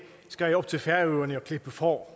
skal jeg op til færøerne og klippe får